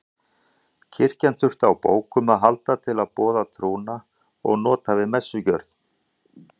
Kirkjan þurfti á bókum að halda til að boða trúna og nota við messugjörð.